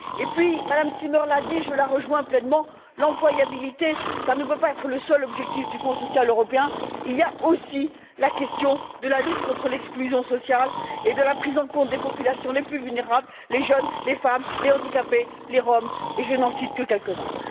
Et puis, Mme Zimmer l'a dit, je la rejoins pleinement l'employabilité, ça ne peut pas être le seul objectif du Fonds social européen, il y a aussi la question de la lutte contre l'exclusion sociale et de la prise en compte des populations les plus vulnérables, les jeunes, les femmes, les handicapés, les Roms, et je n'en cite que quelques uns.